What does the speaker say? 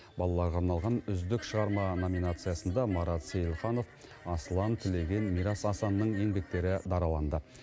балаларға арналған үздік шығарма номинациясында марат сейілханов асылан тілеген мирас асанның еңбектері дараланды